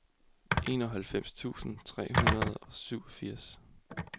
enoghalvfems tusind tre hundrede og syvogfirs